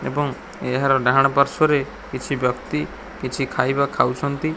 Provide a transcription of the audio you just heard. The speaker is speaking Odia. ଏବଂ ଏହାର ଡାହାଣ ପାର୍ଶ୍ଵରେ କିଛି ବ୍ୟକ୍ତି କିଛି ଖାଇବା ଖାଉଛନ୍ତି।